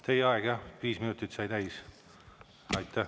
Teie aeg jah, viis minutit sai täis.